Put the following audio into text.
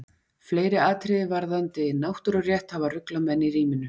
Fleiri atriði varðandi náttúrurétt hafa ruglað menn í ríminu.